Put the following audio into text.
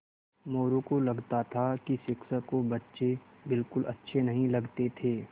मोरू को लगता था कि शिक्षक को बच्चे बिलकुल अच्छे नहीं लगते थे